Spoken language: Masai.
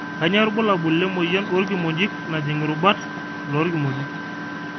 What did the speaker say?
kanyio irbulabul le moyian oorkimojik najing irubat loorkimojik